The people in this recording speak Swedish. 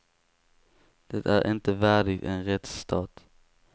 Det är inte värdigt en rättsstat.